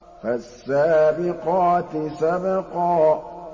فَالسَّابِقَاتِ سَبْقًا